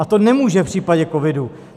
A to nemůže v případě covidu.